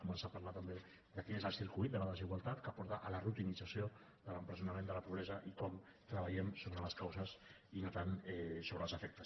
començar a parlar també de quin és el circuit de la desigualtat que porta a la rutinització de l’empresonament de la pobresa i com treballem sobre les causes i no tant sobre els efectes